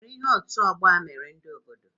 ọwere ihe otu ọgbọ a mere ndị obodo?